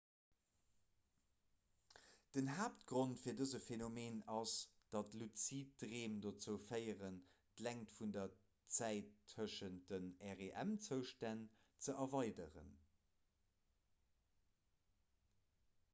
den haaptgrond fir dëse phenomen ass datt luzid dreem dozou féieren d'längt vun der zäit tëschent de rem-zoustänn ze erweideren